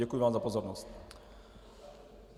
Děkuji vám za pozornost.